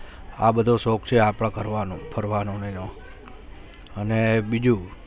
આ બધો શૌક છે આપડા કરવાનો ફરવાનો ને એનો અને બીજું